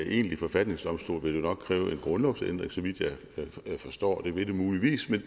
egentlig forfatningsdomstol ville det nok kræve en grundlovsændring så vidt jeg forstår det ville det muligvis